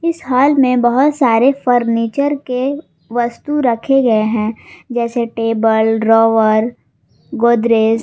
इस हॉल में बहुत सारे फर्नीचर के वस्तु रखे गए हैं जैसे टेबल ड्रॉवर गोदरेज ।